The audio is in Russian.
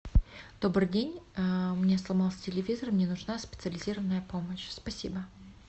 добрый день у меня сломался телевизор мне нужна специализированная помощь спасибо